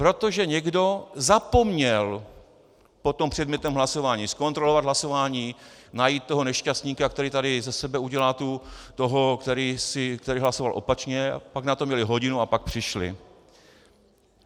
Protože někdo zapomněl po tom předmětném hlasování zkontrolovat hlasování, najít toho nešťastníka, který tady ze sebe udělá toho, který hlasoval opačně, a pak na to měli hodinu a pak přišli.